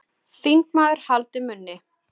Þingmaður haldi munni